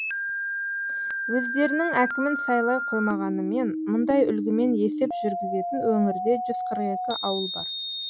өздерінің әкімін сайлай қоймағанымен мұндай үлгімен есеп жүргізетін өңірде жүз қырық екі ауыл бар